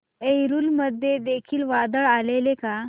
एलुरू मध्ये देखील वादळ आलेले का